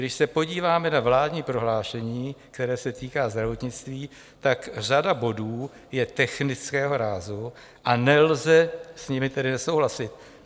Když se podíváme na vládní prohlášení, které se týká zdravotnictví, tak řada bodů je technického rázu, a nelze s nimi tedy nesouhlasit.